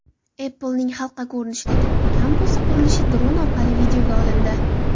Apple’ning halqa ko‘rinishidagi kampusi qurilishi dron orqali videoga olindi.